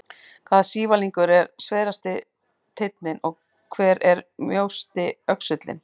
Hvaða sívalningur er sverasti teinninn og hver er mjósti öxullinn?